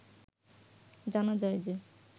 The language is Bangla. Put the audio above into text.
জানা যায় যে